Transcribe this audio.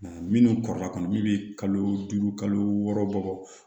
Minnu kɔrɔba kɔnɔ min bɛ kalo duuru kalo wɔɔrɔ bɔ